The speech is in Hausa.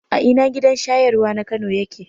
A ina gidan shayarwa na Kano yake?